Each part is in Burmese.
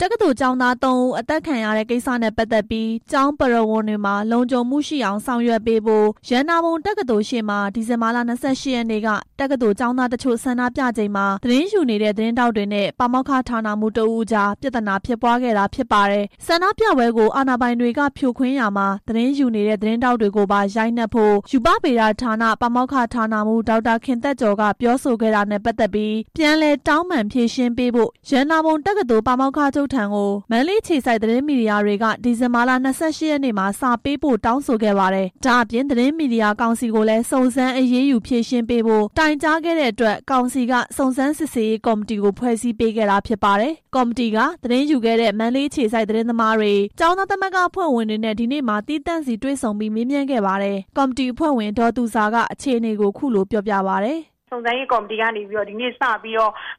တက္ကသိုလ်ကျောင်းသား ၃ ဦး အသတ်ခံခဲ့ရတဲ့ ကိစ္စနဲ့ပတ်သက်ပြီး ကျောင်းပရဝုဏ်တွေမှာ လုံခြုံမှုရှိအောင်ဆောင်ရွက်ပေးဖို့ ရတနာပုံတက္ကသိုလ်ရှေ့မှာ ဒီဇင်ဘာ ၂၈ ရက်နေ့က တက္ကသိုလ်ကျောင်းသားတချို့ ဆန္ဒပြချိန်မှာ သတင်းယူနေတဲ့ သတင်းထောက်တွေနဲ့ ပါမောက္ခဌာနမှူးတစ်ဦးအကြား ပြဿနာဖြစ်ပွားခဲ့တာဖြစ်ပါတယ်။ ဆန္ဒပြပွဲကို အာဏာပိုင်တွေကဖြိုခွင်းရာမှာ သတင်းယူနေတဲ့ သတင်းထောက်တွေကိုပါ ရိုက်နှက်ဖို့ ရုက္ခဗေဒဌာန ပါမောက္ခ၊ဌာနမှူး ဒေါက်တာခင်သက်ကျော်က ပြောဆိုခဲ့တာနဲ့ ပတ်သက်ပြီး ပြန်လည်တောင်းပန် ဖြေရှင်းပေးဖို့ ရတနာပုံတက္ကသိုလ်ပါမောက္ခချုပ်ထံ မန္တလေးအခြေစိုက် သတင်းမီဒီယာတွေက ဒီဇင်ဘာလ ၂၈ရက်နေ့မှာ စာပို့တောင်းဆိုခဲ့ပါတယ်။ ဒါအပြင် သတင်းမီဒီယာကောင်စီကိုလည်း စုံစမ်းအရေးယူဖြေရှင်းပေးဖို့ တိုင်ကြားခဲ့တဲ့အတွက် ကောင်စီက စုံစမ်းစစ်ဆေးရေးကော်မတီကို ဖွဲ့စည်းပေးခဲ့တာ ဖြစ်ပါတယ်။ ကော်မတီက သတင်းယူခဲ့တဲ့ မန္တလေးအခြေစိုက် သတင်းသမားတွေ၊ ကျောင်းသားသမဂ္ဂ အဖွဲ့ဝင်တွေနဲ့ ဒီနေ့မှာ သီးသန့်စီတွေ့ဆုံပြီး မေးမြန်းခဲ့ပါတယ်။ ကော်မတီအဖွဲ့ဝင် ဒေါ်သူဇာက အခြေအနေကို အခုလို ပြောပါတယ်။ "စုံစမ်းရေးကော်မတီက ဒီနေ့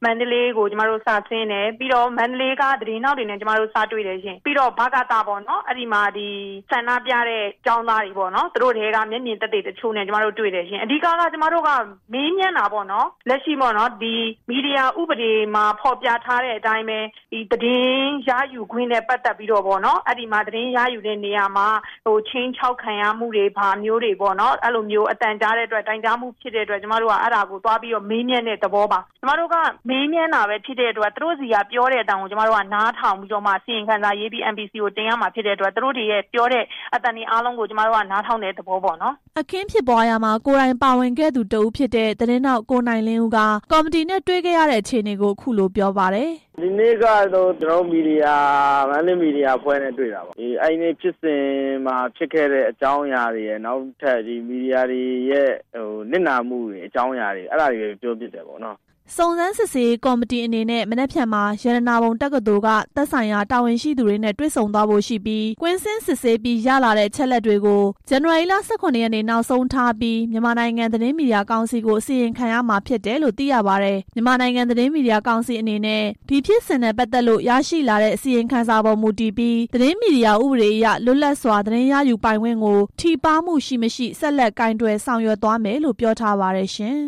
မန္တလေးကို စဆင်းတယ်၊ ပြီးတော့ မန္တလေးက သတင်းထောက်တွေနဲ့ စတွေ့တယ်ရှင့်၊ ပြီးတော့ ဗကသ ပေါ့၊ ဆန္ဒပြတဲ့ ကျောင်းသားတွေနဲ့ သူတို့ထဲက မျက်မြင်သက်သေတချို့နဲ့ တွေ့တယ်၊ အဓိက ကျမတို့က မေးမြန်းတာပေါ့နော်၊ လက်ရှိ မီဒီယာဥပဒေမှာ ဖော်ပြထားတဲ့အတိုင်းပဲ သတင်းရယူတဲ့နေရာမှာ ခြိမ်းခြောက်ခံရမှုရှိတယ်ဆိုပြီး တိုင်ကြားမှုရှိတဲ့အတွက် ကျမတို့က မေးမြန်းတဲ့သဘောပါ၊ ကျမတို့က မေးမြန်းတာဖြစ်တဲ့အတွက် သူတို့ဆီက ပြောတဲ့အသံကို နားထောင်ပြီးတော့မှ အစီရင်ခံစာရေးပြီး MPC ကို တင်ရမှာဖြစ်တဲ့အတွက် သူတို့တွေရဲ့ ပြောတဲ့အသံတွေအားလုံးကို နားထောင်တဲ့သဘောပေါ့နော်" အခင်းဖြစ်ပွားရာမှာ ကိုယ်တိုင်ပါဝင်ခဲ့သူတစ်ဦးဖြစ်တဲ့ သတင်းထောက် ကိုနိုင်လင်းဦးက ကော်မတီနဲ့ တွေ့ခဲ့ရတဲ့ အခြေအနေကို အခုလို ပြောပြပါတယ်။ "ဒီနေ့က မန္တလေးမီဒီယာအဖွဲ့နဲ့ တွေ့တာပေါ့၊ အဲဒီနေ့ ဖြစ်စဉ်မှာဖြစ်ခဲ့တဲ့ အကြောင်းအရာတွေရယ် မီဒီယာတွေရဲ့ နစ်နာမှုအကြောင်းတွေရယ် ပြောဖြစ်ခဲ့ပါတယ်" စုံစမ်းစစ်ဆေးရေးကော်မတီအနေနဲ့ မနက်ဖြန်မှာ ရတနာပုံတက္ကသိုလ်က သက်ဆိုင်ရာ တာဝန်ရှိသူတွေနဲ့ တွေ့ဆုံဖို့ရှိပြီး ကွင်းဆင်းစုံစမ်းပြီး ရလာတဲ့အချက်အလက်တွေကို ဇန်နဝါရီလ ၁၇ ရက်နေ့ နောက်ဆုံးထားကာ မြန်မာနိုင်ငံ သတင်းမီဒီယာကောင်စီကို အစီရင်ခံရမှာဖြစ်တယ်လို့ သိရပါတယ်။ မြန်မာနိုင်ငံ သတင်းမီဒီယာကောင်စီအနေနဲ့ ဒီဖြစ်စဉ်နဲ့ပတ်သက်လို့ ရရှိလာတဲ့ အစီရင်ခံစာပေါ်မူတည်ပြီး သတင်းမီဒီယာဥပဒေအရ လွတ်လပ်စွာ သတင်းရယူပိုင်ခွင့်ကို ထိပါးမှု ရှိ/မရှိ ဆက်လက်ကိုင်တွယ် ဆောင်ရွက်သွားမယ်လို့ ပြောပါတယ်ရှင်